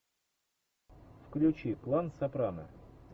включи клан сопрано